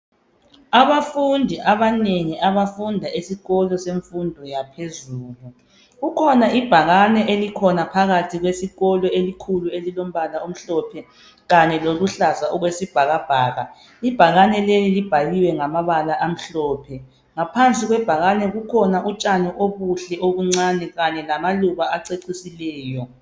Abafundi abanengi abafunda esikolo semfundo yaphezulu kukhona ibhakane elikhona phakathi kwesikolo elikhulu elilombala omhlophe kanye loluhlaza okwesibhakabhaka ibhakane leli libhaliwe ngamabala amhlophe ngaphansi kwebhakane kukhona utshani obuhle obuncane kanye lamaluba acecisileyo